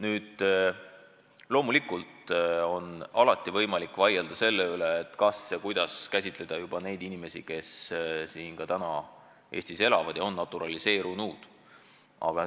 Nüüd, loomulikult on alati võimalik vaielda selle üle, kuidas käsitleda neid inimesi, kes praegu Eestis elavad ja on naturaliseerunud.